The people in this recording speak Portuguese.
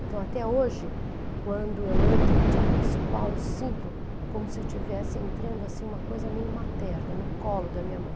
Então, até hoje, quando eu entro no Teatro Municipal, eu sinto como se eu estivesse entrando assim, uma coisa meio materna no colo da minha mãe.